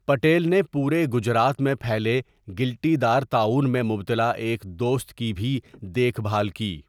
پٹیل نے پورے گجرات میں پھیلے گِلٹی دار طاعُون میں مبتلا ایک دوست کی بھی دیکھ بھال کی۔